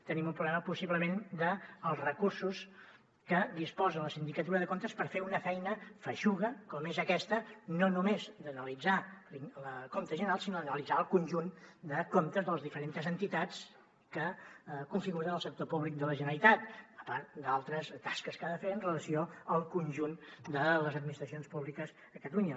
tenim un problema possiblement dels recursos que disposa la sindicatura de comptes per fer una feina feixuga com és aquesta no només d’analitzar el compte general sinó d’analitzar el conjunt de comptes de les diferents entitats que configuren el sector públic de la generalitat a part d’altres tasques que ha de fer amb relació al conjunt de les administracions públiques a catalunya